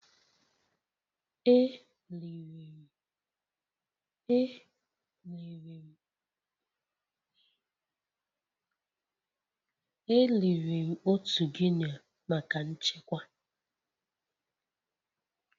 E liri m otu Guinea maka nchekwa